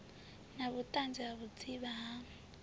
na vhuṱanzi ha vhudzivha ha